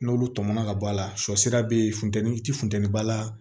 N'olu tɔmɔ na ka bɔ a la sɔ sira bɛ ye funteni ti funteni ba la